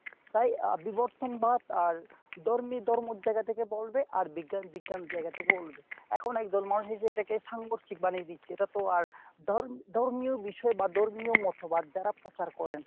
তাই আহ বিবর্তনবাদ আর ধর্মী ধর্মের জায়গা থেকে বলবে আর বিজ্ঞান বিজ্ঞানের জায়গা থেকে বলবে , এখন একদল মানুষ এসে এটাকে সাংঘর্ষিক বানিয়ে দিচ্ছে এটা তো আর ধর~ ধর্মীয় বিষয় বা ধর্মীয় মতবাদ যারা প্রচার করেন।